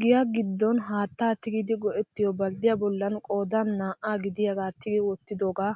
Giyaa giddon haattaa tigidi go"ettiyoo balddiyaa bollan qoodan naa"aa gidiyaagaa tigi wottidoogaa